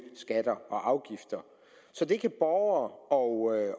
skatter og afgifter så det kan borgere og